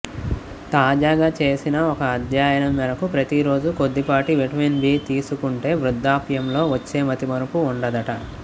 తాజాగా చేసిన ఒక అధ్యయనం మేరకు ప్రతిరోజూ కొద్దిపాటి విటమిన్ బి తీసుకుంటే వృధ్ధాప్యంలో వచ్చే మతిమరుపు ఉండదట